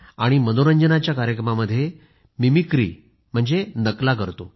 मनोरंजनाच्या कार्यक्रमामध्ये मिमिक्री म्हणजे नकला करतो